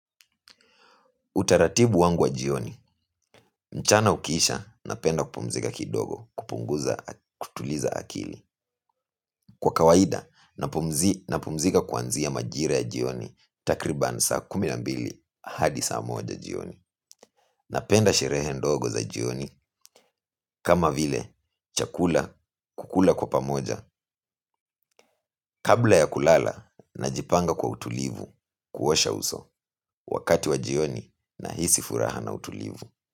Utaratibu wangu wa jioni, mchana ukiisha napenda kupumzika kidogo kupunguza kutuliza akili. Kwa kawaida, napumzika kwanzia majira ya jioni takriban saa kumi na mbili hadi saa moja jioni. Napenda sherehe ndogo za jioni kama vile chakula kukula kwa pamoja kabla ya kulala na jipanga kwa utulivu kuosha uso wakati wa jioni na hisi furaha na utulivu.